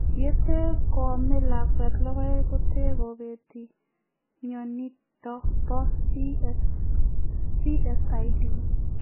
Yetee koamee lakweet logoek kotee kopetee mionitok poo CSID,